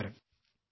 നമസ്ക്കാരം